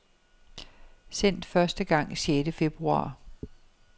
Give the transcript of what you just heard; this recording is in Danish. Sendt første gang sjette februar.